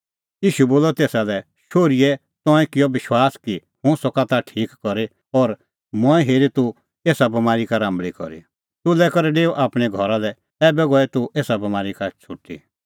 ईशू बोलअ तेसा लै शोहरी तंऐं किअ विश्वास कि हुंह सका ताह ठीक करी और मंऐं हेरी तूह एसा बमारी का राम्बल़ी करी सुलै करै डेऊ आपणैं घरा लै ऐबै गई तूह एसा बमारी का छ़ुटी